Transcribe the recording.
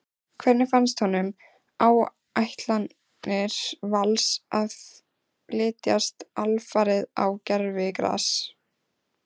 Hvernig finnst honum áætlanir Vals að flytjast alfarið á gervigras?